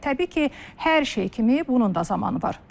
Təbii ki, hər şey kimi bunun da zamanı var.